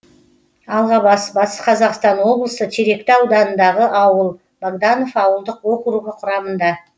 алғабас батыс қазақстан облысы теректі ауданындағы ауыл богданов ауылдық округі құрамында